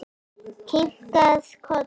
Kinkað kolli.